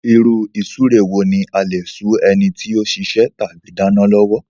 Ìrú-ìsúre wo ní a lè sú enití o sisẹ́ tàbí dánán lọ́wọ́